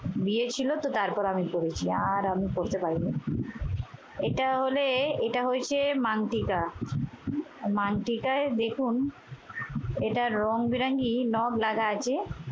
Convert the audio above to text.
বিয়ে ছিল তো তারপরে আমি আর পরেছি। আর আমি পডরতে পারি নাই। এটা হলে এটা হয়েছে মানিকা, মানটিকায় দেখুন এটা রংবেরঙের নগ লাগা আছে।